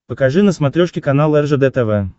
покажи на смотрешке канал ржд тв